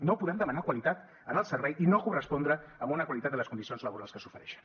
no podem demanar qualitat en el servei i no correspondre amb una qualitat de les condicions laborals que s’ofereixen